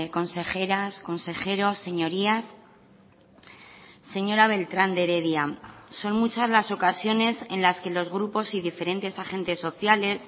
consejeras consejeros señorías señora beltrán de heredia son muchas las ocasiones en las que los grupos y diferentes agentes sociales